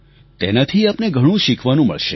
તેનાથી આપને ઘણું શીખવાનું મળશે